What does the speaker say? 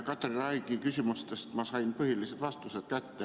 Katri Raigi küsimustest ma sain põhilised vastused kätte.